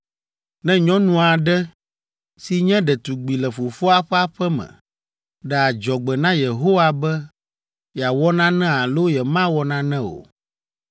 “Ne nyɔnu aɖe, si nye ɖetugbi le fofoa ƒe aƒe me ɖe adzɔgbe na Yehowa be yeawɔ nane alo yemawɔ nane o,